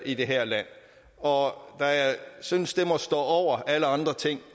i det her land og da jeg synes det må stå over alle andre ting